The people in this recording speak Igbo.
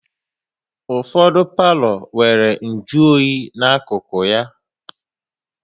Ụfọdụ palo nwéré nju oyi n'akụkụ ya